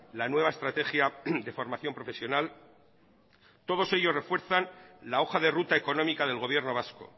la nueva estrategia de formación profesional todos ellos refuerzan la hoja de ruta económica del gobierno vasco